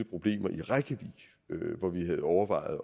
problemer i reykjavík hvor vi havde overvejet